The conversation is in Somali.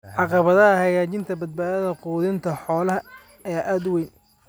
Caqabadaha hagaajinta badbaadada quudinta xoolaha ayaa aad u weyn.